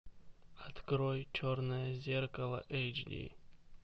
открой черное зеркало эйч ди